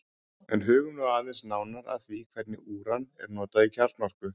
en hugum nú aðeins nánar að því hvernig úran er notað í kjarnorku